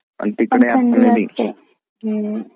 Audio not clear